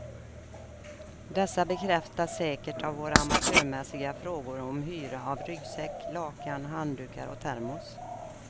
Dessa bekräftas säkert av våra amatörmässiga frågor om hyra av ryggsäck, lakan, handdukar och termos.